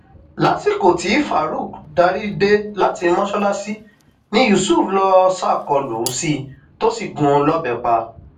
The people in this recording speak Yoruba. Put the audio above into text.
lásìkò tí farouk darí dé láti mọsálásí ni yusuf lọọ ṣàkólú sí i tó sì gún un lọbẹ pa